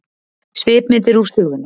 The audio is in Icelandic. Svipmyndir úr sögunni